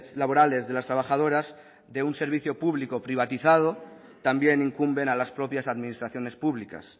laborales de las trabajadoras de un servicio público privatizado también incumben a las propias administraciones públicas